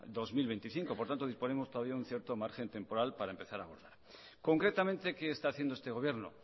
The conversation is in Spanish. dos mil veinticinco por tanto disponemos todavía un cierto margen temporal para empezar a concretamente qué está haciendo este gobierno